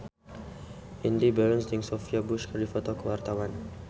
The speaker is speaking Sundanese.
Indy Barens jeung Sophia Bush keur dipoto ku wartawan